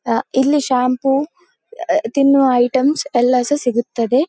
ಅ ಇಲ್ಲಿ ಶಾಂಪೂ ಅ ತಿನ್ನುವ ಐಟಮ್ಸ್ ಎಲ್ಲ ಸ ಸಹ ಸಿಗುತ್ತದೆ.